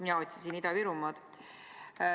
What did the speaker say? Mina otsisin Ida-Virumaad.